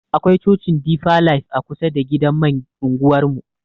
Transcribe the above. Akwai cocin difa laif a kusa da gidan man anguwar mu.